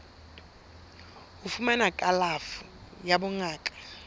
ho fumana kalafo ya bongaka